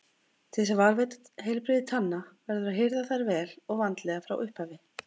Til þess að varðveita heilbrigði tanna verður að hirða þær vel og vandlega frá upphafi.